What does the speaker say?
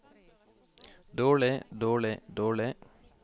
dårlig dårlig dårlig